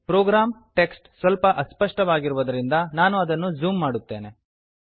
program text ಸ್ವಲ್ಪ ಅಸ್ಪಷ್ಟವಾಗಿರುವುದರಿಂದ ನಾನು ಅದನ್ನು ಝೂಮ್ ಮಾಡುತ್ತೇನೆ